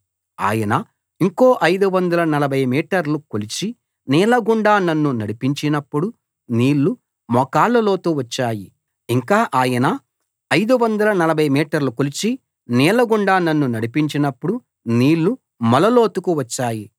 ఆయన ఇంకో 540 మీటర్లు కొలిచి నీళ్ల గుండా నన్ను నడిపించినపుడు నీళ్లు మోకాళ్ల లోతు వచ్చాయి ఇంకా ఆయన 540 మీటర్లు కొలిచి నీళ్లగుండా నన్ను నడిపించినపుడు నీళ్లు మొల లోతుకు వచ్చాయి